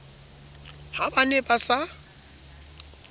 ha ba ne ba sa